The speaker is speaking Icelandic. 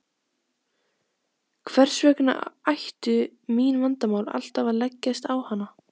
Hvers vegna ættu mín vandamál alltaf að leggjast á hana.